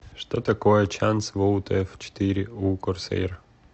что такое чанс воут ф четыре у корсэйр